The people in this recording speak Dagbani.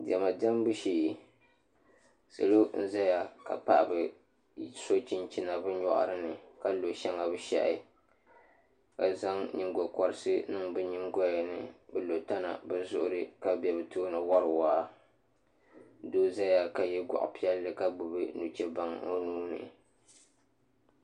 Diɛma diɛmbu shee salo n ʒɛya ka paɣaba so chinchina bi nyori ni ka lo shɛŋa bi shahi ka zaŋ nyingokoriti niŋ bi nyingoya ni bi lo tana bi zuɣuri ka bɛ bi tooni wori waa doo ʒɛya ka yɛ goɣa piɛlli ka gbubi nuchɛ baŋ o nuuni